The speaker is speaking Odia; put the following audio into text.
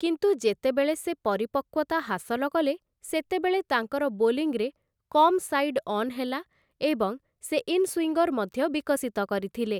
କିନ୍ତୁ ଯେତେବେଳେ ସେ ପରିପକ୍କତା ହାସଲ କଲେ, ସେତେବେଳେ ତାଙ୍କର ବୋଲିଂରେ କମ୍‌ ସାଇଡ୍‌ ଅନ୍‌ ହେଲା ଏବଂ ସେ ଇନସୁଇଙ୍ଗର୍‌ ମଧ୍ୟ ବିକଶିତ କରିଥିଲେ ।